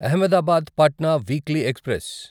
Ahmedabad Patna weekly express